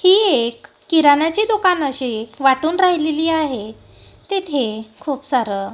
ही एक किराणाची दुकानं असे वाटून राहिलेली आहे. तिथे खूप सारं--